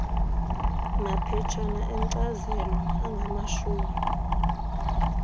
maphetshana enkcazelo angamashumi